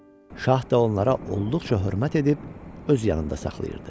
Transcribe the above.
Şah da onlara olduqca hörmət edib öz yanında saxlayırdı.